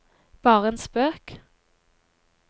bare en spøk